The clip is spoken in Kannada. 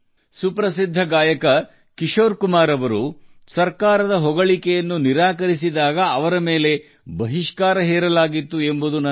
ನನಗೆ ನೆನಪಿದೆ ಖ್ಯಾತ ಗಾಯಕ ಕಿಶೋರ್ ಕುಮಾರ್ ಸರ್ಕಾರವನ್ನು ಶ್ಲಾಘಿಸಲು ನಿರಾಕರಿಸಿದಾಗ ಅವರನ್ನು ನಿಷೇಧಿಸಲಾಯಿತು